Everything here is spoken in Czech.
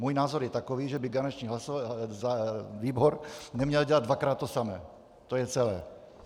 Můj názor je takový, že by garanční výbor neměl dělat dvakrát to samé, to je celé.